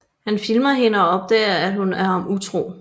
Han filmer hende og opdager at hun er ham utro